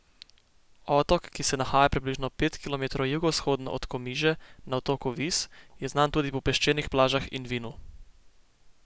Otok, ki se nahaja približno pet kilometrov jugovzhodno od Komiže na otoku Vis, je znan tudi po peščenih plažah in vinu.